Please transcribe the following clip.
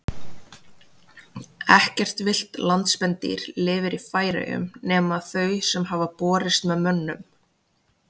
Ekkert villt landspendýr lifir í Færeyjum nema þau sem hafa borist með mönnum.